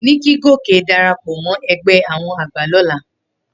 Ni kí Gòkè darapọ̀ mọ́ ẹgbẹ́ àwọn àgbà lọ́la.